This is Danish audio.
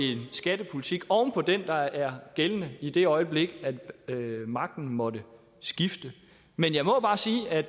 skattepolitik oven på den der er gældende i det øjeblik magten måtte skifte men jeg må bare sige at